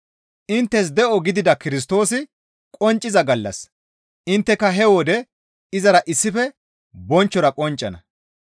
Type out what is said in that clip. Inttes de7o gidida Kirstoosi qoncciza gallas intteka he wode izara issife bonchchora qonccana.